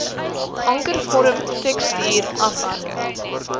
ankervorm tekstuur afwerking